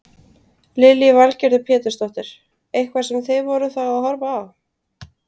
Lillý Valgerður Pétursdóttir: Eitthvað sem þið voruð þá að horfa á?